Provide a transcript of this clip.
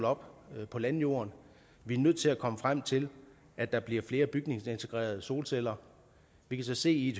op på landjorden vi er nødt til at komme frem til at der bliver flere bygningsintegrerede solceller vi kan så se i